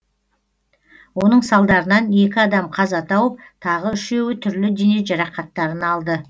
оның салдарынан екі адам қаза тауып тағы үшеуі түрлі дене жарақаттарын алды